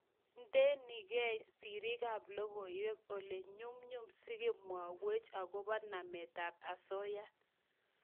Indenigei sirik ab logoywek olenyumnyum si komwaiwech akobo namet ab asoya